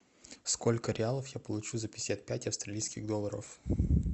сколько реалов я получу за пятьдесят пять австралийских долларов